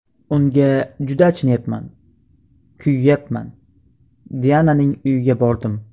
Unga juda achinayapman, kuyayapman... Diananing uyiga bordim.